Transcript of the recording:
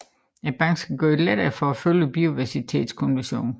Banken skal gøre det lettere at følge Biodiversitetskonventionen